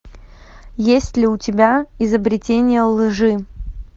есть ли у тебя изобретение лжи